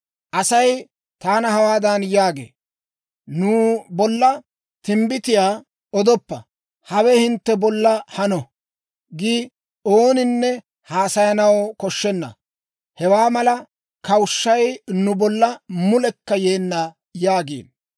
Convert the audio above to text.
Asay taana hawaadan yaagee; «Nu bolla timbbitiyaa odoppa. ‹Hawe hawe hintte bolla hanana› giide ooninne haasayanaw koshshenna. Hewaa mala kawushshay nu bolla mulekka yeenna» yaagiino.